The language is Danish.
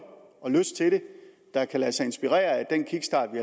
og lyst til det der kan lade sig inspirere af den kickstart vi